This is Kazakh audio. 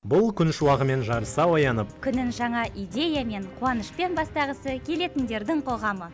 бұл күн шуағымен жарыса оянып күнін жаңа идеямен қуанышпен бастағысы келетіндердің қоғамы